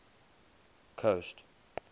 coast